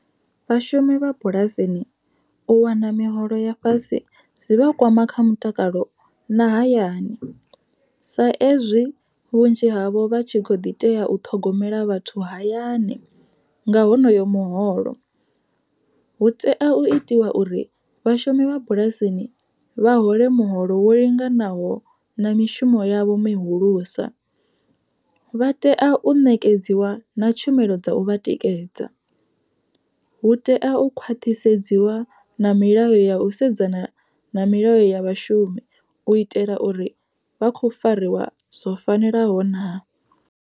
Vhashumi vha bulasini u wana miholo ya fhasi zwivha kwama kha mutakalo na hayani, sa ezwi vhunzhi havho vha tshi kho ḓi tea u ṱhogomela vhathu hayani nga honoyo muholo. Hu tea u itiwa uri vhashumi vha bulasini vha hole muholo wo linganaho na mishumo yavho mihulusa, vha tea u ṋekedziwa na tshumelo dza u vha tikedza. Hu tea u khwaṱhisedziwa na milayo ya u sedzana na milayo ya vhashumi u itela uri vha khou fariwa zwo fanelaho naa.